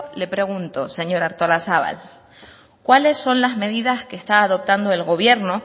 le pregunto señora artolazabal cuáles son las medidas que está adoptando el gobierno